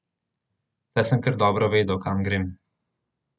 Saj sem kar dobro vedel, kam grem.